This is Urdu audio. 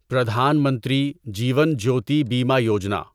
پردھان منتری جیون جیوتی بیمہ یوجنا